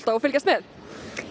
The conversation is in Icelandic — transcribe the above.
og fylgjast með